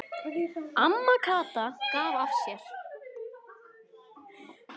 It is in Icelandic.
Amma Kata gaf af sér.